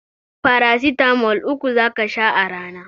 Farasitamol uku zaka sha a rana